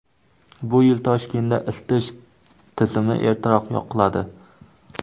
Bu yil Toshkentda isitish tizimi ertaroq yoqiladi.